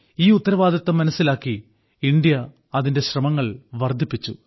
ഈ ഉത്തരവാദിത്തം മനസ്സിലാക്കി ഇന്ത്യ അതിന്റെ ശ്രമങ്ങൾ വർധിപ്പിച്ചു